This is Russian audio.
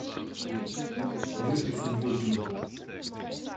лехе субботину